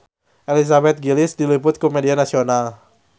Elizabeth Gillies diliput ku media nasional